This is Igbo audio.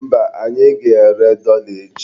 Mba, anyị ga-ere dọla echi.